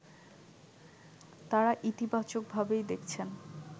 তাঁরা ইতিবাচকভাবেই দেখছেন